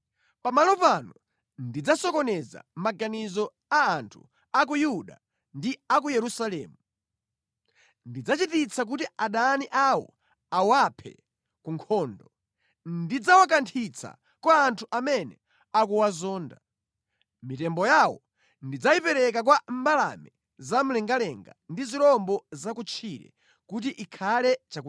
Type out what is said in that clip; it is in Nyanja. “ ‘Pamalo pano ndidzasokoneza maganizo a anthu a ku Yuda ndi a ku Yerusalemu. Ndidzachititsa kuti adani awo awaphe ku nkhondo. Ndidzawakanthitsa kwa anthu amene akuwazonda. Mitembo yawo ndidzayipereka kwa mbalame za mlengalenga ndi zirombo za kutchire kuti ikhale chakudya chawo.